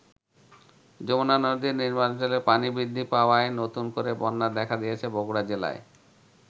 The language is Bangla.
যমুনা নদীর নিম্নাঞ্চলে পানি বৃদ্ধি পাওয়ায় নতুন করে বন্যা দেখা দিয়েছে বগুড়া জেলায়।